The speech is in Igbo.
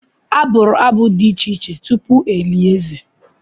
A bụrụ abụ dị iche iche tupu e lie eze.